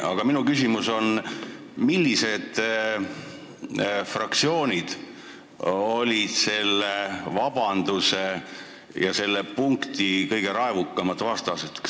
Aga minu küsimus: millised fraktsioonid olid selle vabanduse ja selle punkti kõige raevukamad vastased?